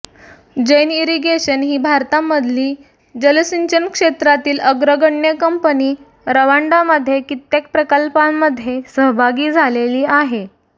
Jain Irrigation ही भारतामधली जलसिंचन क्षेत्रातली अग्रगण्य कंपनी रवांडामध्ये कित्येक प्रकल्पांमध्ये सहभागी झालेली आहे